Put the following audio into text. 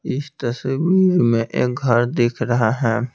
इस तस्वीर में एक घर दिख रहा है।